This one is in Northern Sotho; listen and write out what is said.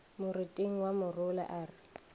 moriting wa morula a re